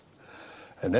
en